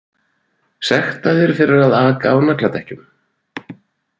Sektaðir fyrir að aka á nagladekkjum